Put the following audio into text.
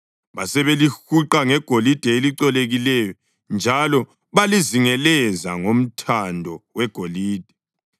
Basebelihuqa ngegolide elicolekileyo njalo balizingelezela ngomthando wegolide.